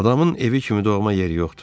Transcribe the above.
Adamın evi kimi doğma yeri yoxdur.